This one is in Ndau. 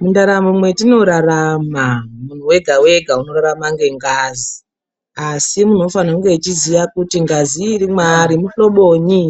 Mundaramo mwetinorarama, muntu wega-wega unorarama ngengazi, asi muntu unofane kunge weiziya kuti ngazi iri mwaari muhloboyini